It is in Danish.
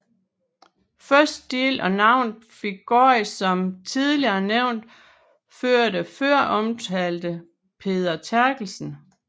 Første del af navnet fik gården som tidligere nævnt efter den før omtalte Peder Terkelsen